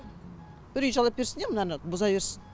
бір үй жалдап берсін де мынаны бұза берсін